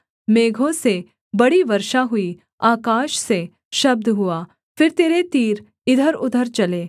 मेघों से बड़ी वर्षा हुई आकाश से शब्द हुआ फिर तेरे तीर इधरउधर चले